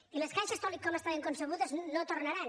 i les caixes tal com estaven concebudes no tornaran